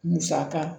Musaka